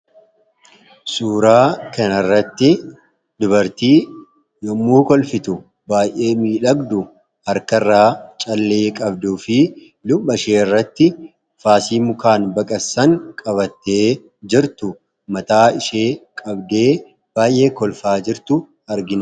Suuraa kana irratti dubartii yommuu kolfitu baay'ee miidhagdu harka irraa callee qabdu fi lubha shee irratti faasii mukaan baqassan qabattee jirtu mataa ishee qabdee baay'ee kolfaa jirtu argina.